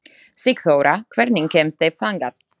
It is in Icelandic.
Sigþóra, hvernig kemst ég þangað?